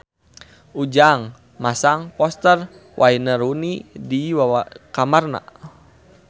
Ujang masang poster Wayne Rooney di kamarna